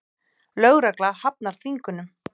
Lögregla hafnar þvingunum